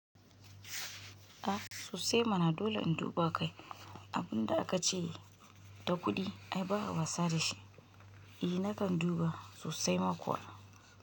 A sosai mana dole in duba kai, abunda aka ce da kuɗi ai ba'a wasa da shi. I nakan duba sosai ma kuwa.